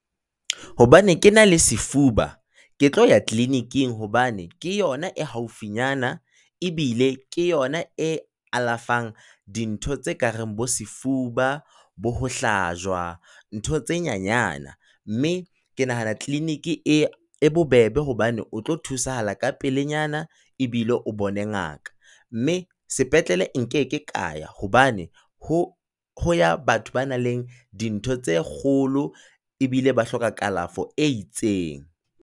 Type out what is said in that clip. Hobane ke na le sefuba, ke tlo ya clinic-ing hobane ke yona e haufi nyana, ebile ke yona e alafang dintho tse kareng bo sefuba, bo ho hlajwa ntho tse nyanyana. Mme ke nahana clinic e e bobebe hobane o tlo thusahala ka pelenyana, ebile o bone ngaka. Mme sepetlele nkeke ka ya, hobane ho ho ya batho ba na leng? Dintho tse kgolo, ebile ba hloka kalafo e itseng.